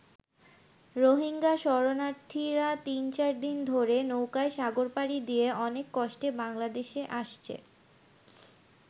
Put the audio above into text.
রোহিঙ্গা শরণার্থীরা তিন চার দিন ধরে নৌকায় সাগর পাড়ি দিয়ে অনেক কষ্টে বাংলাদেশে আসছে।